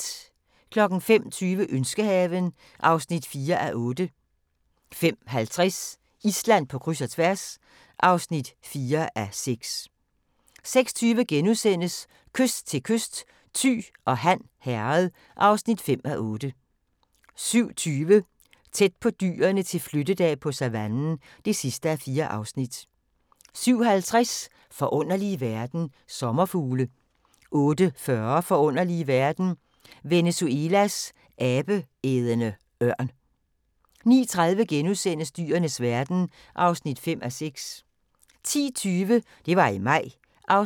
05:20: Ønskehaven (4:8) 05:50: Island på kryds og tværs (4:6) 06:20: Kyst til kyst: Thy og Han Herred (5:8)* 07:20: Tæt på dyrene til flyttedag på savannen (4:4) 07:50: Forunderlige verden - Sommerfugle 08:40: Forunderlige verden – Venezuelas abeædende ørn 09:30: Dyrenes verden (5:6)* 10:20: Det var i maj (16:20)